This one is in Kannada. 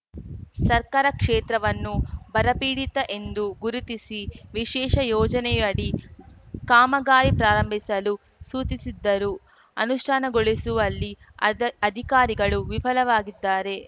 ಸರ್ಕಾರ ಕ್ಷೇತ್ರವನ್ನು ಬರಪೀಡಿತ ಎಂದು ಗುರುತಿಸಿ ವಿಶೇಷ ಯೋಜನೆಯಡಿ ಕಾಮಗಾರಿ ಪ್ರಾರಂಭಿಸಲು ಸೂಚಿಸಿದ್ದರೂ ಅನುಷ್ಠಾನಗೊಳಿಸುವಲ್ಲಿ ಅದ್ ಅಧಿಕಾರಿಗಳು ವಿಫಲವಾಗಿದ್ದಾರೆ